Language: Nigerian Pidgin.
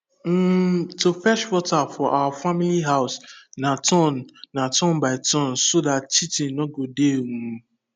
um to fetch water for our family house na turn na turn by turn so dat cheatin nor go dey um